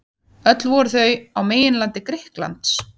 Öll voru þau á meginlandi Grikklands.